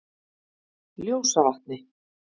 Ljósavatni